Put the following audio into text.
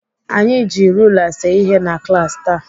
Anyị ji rula see ihe na klaasị taa.